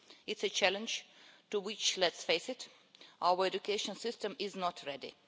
It's a challenge for which let's face it our education system is not ready.